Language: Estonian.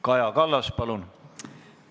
Kaja Kallas, palun!